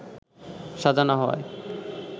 সাজা না হওয়ায়